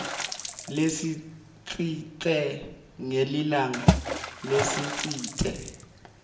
lesitsite ngelilanga lelitsite